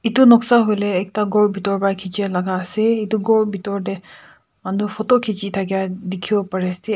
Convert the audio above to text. etu noksa hoi le ekta ghor pitor ra khechia laga ase etu ghor pitor te manu photo khechi thakia dikhi wo pari ase.